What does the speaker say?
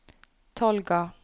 Tolga